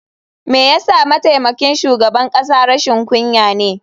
Me yasa mataimakin shugaban kasa rashin kunya ne?